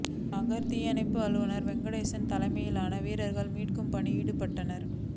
நகர் தீயணைப்பு அலுவலர் வெங்கடேசன் தலைமையிலான வீரர்கள் மீட்பு பணியில் ஈடுபட்டனர்